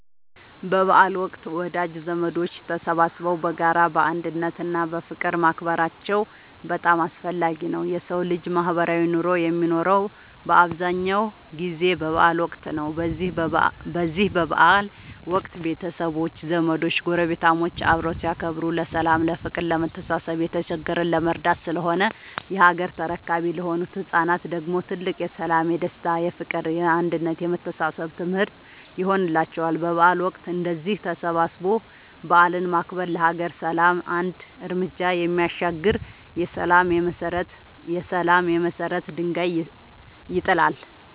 በበዓል ወቅት ወዳጅ ዘመዶች ተሰባስበው በጋራ፣ በአንድነት እና በፍቅር ማክበራቸው በጣም አስፈላጊ ነው የሠው ልጅ ማህበራዊ ኑሮ የሚኖረው በአብዛኛው ጊዜ በበዓል ወቅት ነው። በዚህ በበዓል ወቅት ቤተሰቦች፣ ዘመዶች ጐረቤታሞች አብረው ሲያከብሩ ለሠላም፤ ለፍቅር፣ ለመተሳሰብ፣ የተቸገረን ለመርዳት ስለሆነ የሀገር ተረካቢ ለሆኑት ለህፃናት ደግሞ ትልቅ የሠላም፣ የደስታ፣ የፍቅር፣ የአንድነት የመተሳሰብ ትምህርት ይሆንላቸዋል። በበዓል ወቅት እንደዚህ ተሰባስቦ በዓልን ማክበር ለሀገር ሰላም አንድ ርምጃ የሚያሻግር የሠላም የመሰረት ድንጋይ ይጥላል።